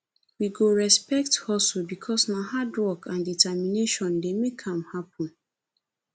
we go respect hustle because na hardwork and determination dey make am happen